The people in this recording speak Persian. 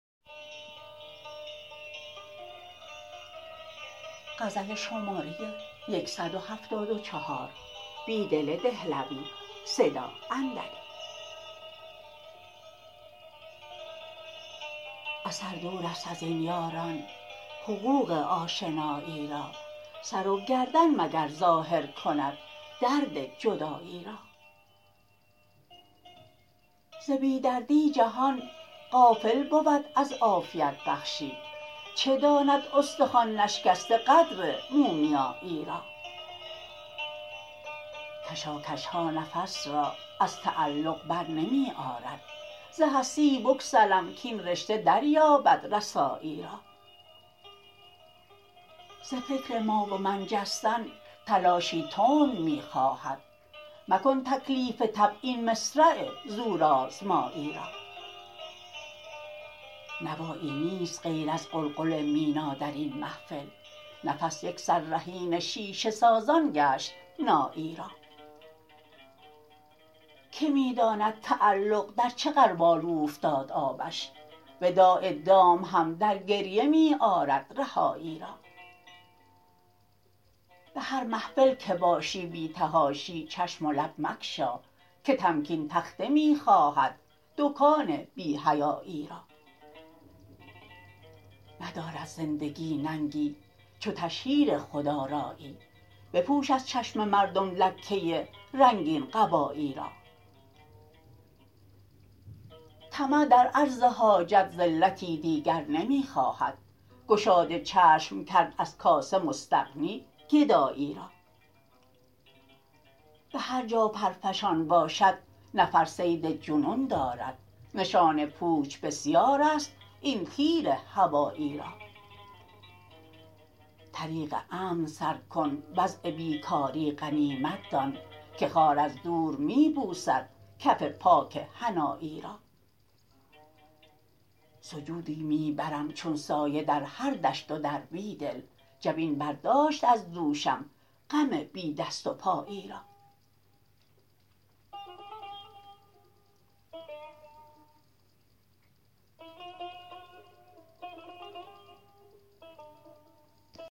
اثر دور است ازین یاران حقوق آشنایی را سر وگردن مگر ظاهرکند درد جدایی را ز بی دردی جهان غافل بود از عافیت بخشی چه داند استخوان نشکسته قدر مومیایی را کشاکشها نفس را ازتعلق برنمی آرد ز هستی بگسلم کاین رشته دریابد رسایی را زفکر ما و من جستن تلاشی تند می خواهد مکن تکلیف طبع این مصرع زورآزمایی را نوایی نیست غیراز قلقل مینا درین محفل نفس یک سر رهین شیشه سازان گشت نایی را که می داند تعلق در چه غربال اوفتاد آبش وداع دام هم درگریه می آرد رهایی را به هرمحفل که باشی بی تحاشی چشم ولب مگشا که تمکین تخته می خواهد دکان بی حیایی را ندارد زندگی ننگی چو تشهیر خودآرایی بپوش از چشم مردم لکه رنگین قبایی را طمع در عرض حاجت ذلتی دیگر نمی خواهد گشاد چشم کرد ازکاسه مستغنی گدایی را به هرجا پرفشان باشد نفر صید جنون دارد نشان پوچ بسیار است این تیر هوایی را طریق امن سرکن وضع بیکاری غنیمت دان که خار از دور می بوسدکف پاک حنایی را سجودی می برم چون سایه درهر دشت ودربیدل جبین برداشت ازدوشم غم بی دست وپایی را